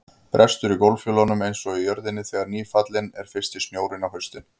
Brestur í gólffjölunum einsog í jörðinni þegar nýfallinn er fyrsti snjórinn á haustin.